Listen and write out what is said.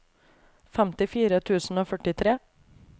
femtifire tusen og førtitre